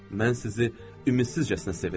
Mən sizi ümidsizcəsinə sevirəm.